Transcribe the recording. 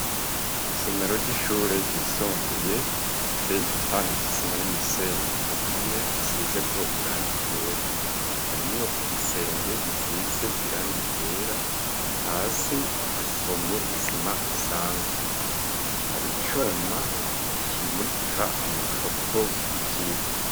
Isomero ry'ishure ryisumbuye riteye igipande cisima n'umusenyi ku mpome hasize ko irangi ryera, harimwo igisenge gisize irangi ryera, hasi hahomye isima isanzwe, hari icuma kimurika amafoto y'ivyirwa.